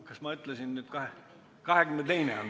Kas ma ütlesin 22.?